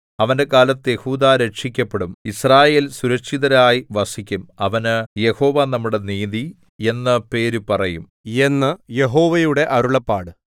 അവന്റെ കാലത്ത് യെഹൂദാ രക്ഷിക്കപ്പെടും യിസ്രായേൽ സുരക്ഷിതരായി വസിക്കും അവന് യഹോവ നമ്മുടെ നീതി എന്നു പേര് പറയും എന്ന് യഹോവയുടെ അരുളപ്പാട്